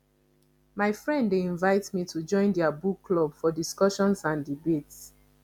my friend dey invite me to join their book club for discussions and debates